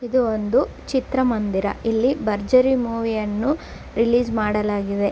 ಇದು ಒಂದು ಚಿತ್ರ ಮಂದಿರ ಇಲ್ಲಿ ಭರ್ಜರಿ ಮೂವಿ ಯನ್ನು ರಿಲೀಸ್ ಮಾಡಲಾಗಿದೆ